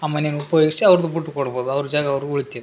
ಆ ಮನೆನ ಉಪಯೊಗಿಸಿ ಆವ್ರ್ದ್ ಬಿಟ್ಟ್ ಕೊಡ್ಬೌದ್ ಅವ್ರ್ ಜಾಗ ಆವ್ರ್ಗ್ ಉಳಿತಿ .